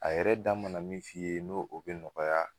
A yɛrɛ da mana min f'i ye n'o o bɛ nɔgɔya